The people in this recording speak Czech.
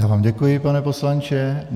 Já vám děkuji, pane poslanče.